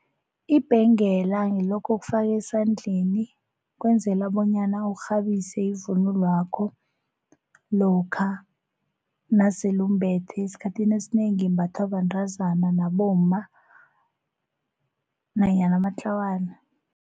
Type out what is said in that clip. Ibhengela ngilokho okufakwa esandleni kwenzela bonyana urhabise ivunulwakho lokha nasele umbethe esikhathini esinengi imbathwa bantazana nabomma nanyana amatlawana.